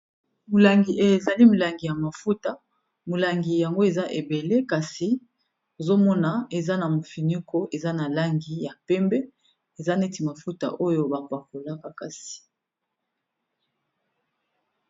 molangi ezali molangi ya mafuta molangi yango eza ebele kasi ozomona eza na mofinuko eza na langi ya pembe eza neti mafuta oyo bapakolaka kasi